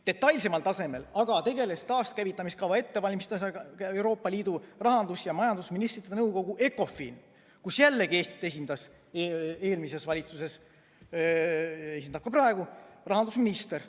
Detailsemal tasemel aga tegeles taaskäivitamise kava ettevalmistamisega Euroopa Liidu rahandus- ja majandusministrite nõukogu Ecofin, kus jällegi Eestit esindas eelmises valitsuses ja esindab ka praegu rahandusminister.